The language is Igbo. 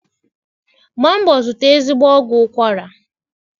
Gba mbọ zụta ezigbo ọgwụ ụkwara